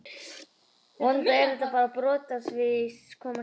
Vonandi er þetta bara brot af því sem koma skal!